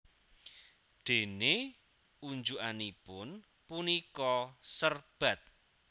Déné unjukanipun punika serbat